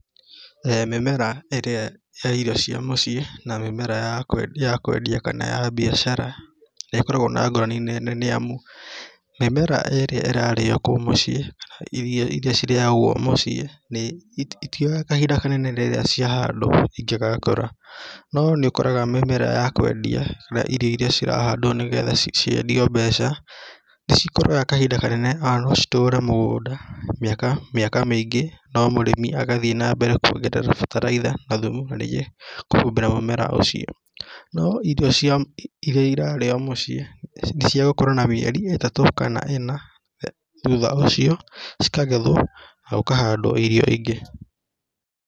Mĩmera ĩrĩa ya irio cia mũciĩ na mĩmera ya ya kũendia kana ya biacara nĩkoragwo na ngũrani nene nĩamu mĩmera ĩrĩa ĩrarĩo kũu mũciĩ irio iria cirĩagwo mũciĩ itioyaga kahinda kanene hĩndĩ ĩrĩa ciahandwo ingĩgakũra. No nĩũkoraga mĩmera ya kũendia na irio iria cirahandwo nigetha ciendio mbeca ta cikũraga kahinda kanene ona no citũre mũgũnda mĩaka mĩaka mĩingĩ no mũrĩmi agathiĩ na mbere kuongerera bataraitha na thumu na ningĩ kũhumbĩra mũmera ũcio. No irio irarĩo mũciĩ niciagũkũra na mĩeri ĩtatũ kana ĩna thutha ũcio cikagethwo na gũkahandwo irio ingĩ.